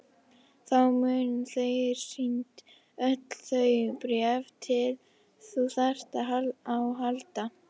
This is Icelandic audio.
Þá munu þér sýnd öll þau bréf sem þú þarft á að halda.